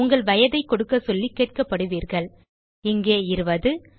உங்கள் வயதை கொடுக்க சொல்லி கேட்கப்படுவீர்கள் இங்கே 20